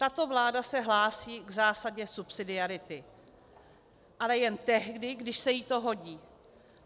Tato vláda se hlásí k zásadě subsidiarity, ale jen tehdy, když se jí to hodí.